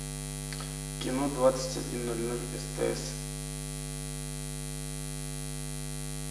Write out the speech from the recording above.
кино двадцать один ноль ноль стс